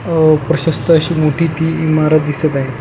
अह प्रशस्थ अशी मोठी ती इमारत दिसत आहे.